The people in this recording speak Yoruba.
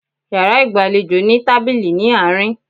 Yàrá ìgbàlejò ní tábìlì ní àárín